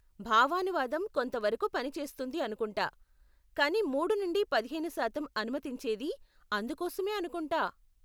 భావానువాదం కొంత వరకు పని చేస్తుంది అనుకుంటా, కానీ మూడు నుండి పదిహేను శాతం అనుమతించేది అందుకోసమే అనుకుంటా.